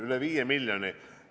Üle 5 miljoni!